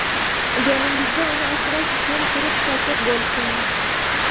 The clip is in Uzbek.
yoningizda uni o‘rash uchun quruq sochiq bo‘lsin.